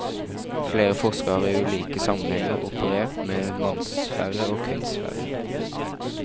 Flere forskere har i ulike sammenhenger operert med mannsfære og kvinnesfære.